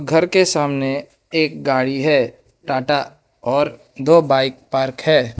घर के सामने एक गाड़ी है टाटा और दो बाइक पार्क है।